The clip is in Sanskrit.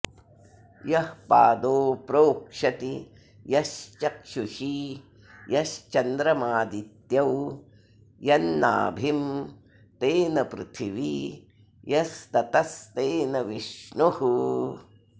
यः पादो प्रोक्षति यश्चक्षुषी यश्चन्द्रमादित्यौ यन्नाभिं तेन पृथिवी यस्ततस्तेन विष्णुः